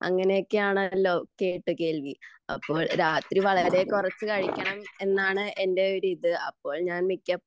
അങ്ങനെയൊക്കെ ആണല്ലോ കേട്ട് കേൾവി അപ്പൊ രാത്രി വളരെ കുറച്ചു കഴിക്കണം എന്നാണ് എന്റെ ഒരു ഇത് അപ്പോൾ ഞാൻ മിക്കപ്പോഴും